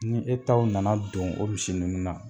Ni e taw nana don o misi ninnu na.